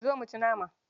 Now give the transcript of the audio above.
Zo mu ci nama.